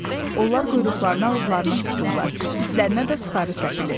Onlar quyruqlarını ağızlarına tuturlar, üstlərinə də sıxarı səpilir.